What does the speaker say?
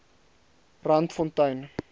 randfontein